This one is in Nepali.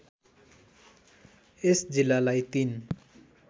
यस जिल्लालाई ३